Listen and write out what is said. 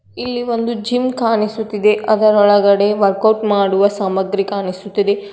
ಇಲ್ಲಿ ಒಂದ್ ಜಿಮ್ ಕಾಣಿಸುತ್ತಿದೆ ಅದರೊಳಗಡೆ ವರ್ಕೌಟ್ ಮಾಡುವ ಸಾಮಗ್ರಿ ಕಾಣಿಸುತ್ತಿದೆ ಅದ್ --